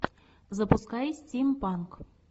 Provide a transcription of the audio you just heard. запускай стимпанк